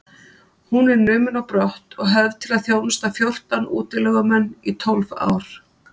Hún er numin á brott og höfð til að þjónusta fjórtán útilegumenn í tólf ár.